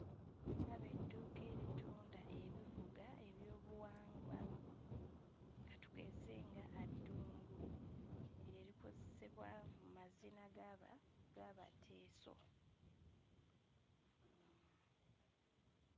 Ndaba edduuka eritunda ebivuga eby'obuwangwa ka tugeze nga adungu; ebyo ebikozesebwa mu mazina g'aba g'Abateeso.